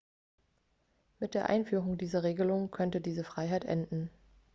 mit der einführung dieser regelung könnte diese freiheit enden